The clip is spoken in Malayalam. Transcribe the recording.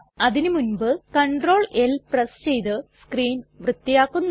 അതിന് മുൻപ് Cltl പ്രസ് ചെയ്ത് സ്ക്രീൻ വൃത്തിയാക്കുന്നു